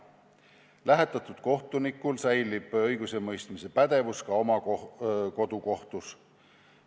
Lähetatud kohtunikul säilib õigusemõistmise pädevus ka oma kodukohtus.